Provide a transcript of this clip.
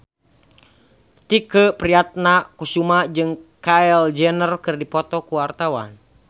Tike Priatnakusuma jeung Kylie Jenner keur dipoto ku wartawan